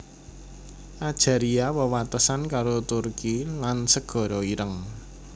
Ajaria wewatesan karo Turki lan Segara Ireng